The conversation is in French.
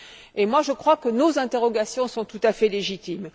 Et je crois que nos interrogations sont tout à fait légitimes.